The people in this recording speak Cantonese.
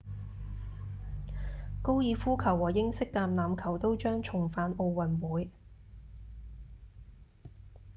高爾夫球和英式橄欖球都將重返奧運會